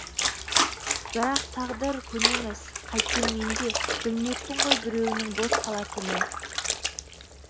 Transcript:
бірақ тағдыр көнеміз қайткенменде білмеппін ғой біреуінің бос қалатынын